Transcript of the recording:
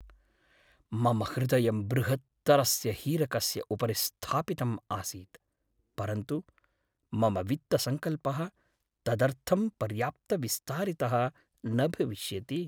मम हृदयं बृहत्तरस्य हीरकस्य उपरि स्थापितम् आसीत् परन्तु मम वित्तसंकल्पः तदर्थं पर्याप्तविस्तारितः न भविष्यति।